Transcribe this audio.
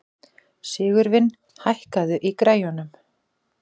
Sigurvin, hækkaðu í græjunum.